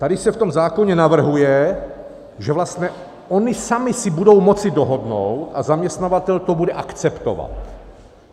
Tady se v tom zákoně navrhuje, že vlastně oni sami si budou moci dohodnout a zaměstnavatel to bude akceptovat.